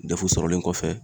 D E F sɔrɔlen kɔfɛ